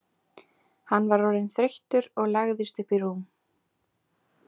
Hann var orðinn þreyttur og lagðist upp í rúm.